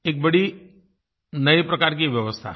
एक बड़ी नयी प्रकार की व्यवस्था है